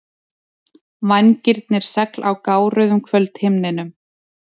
Vængirnir segl á gáruðum kvöldhimninum.